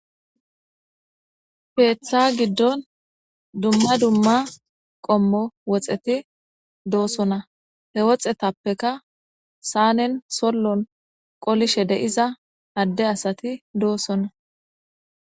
Ketha gidon dumma dumma qommo woxeti dosona he woxetappeka sanen solon qolishe de'iza ade asati dosona